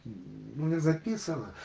ну не записано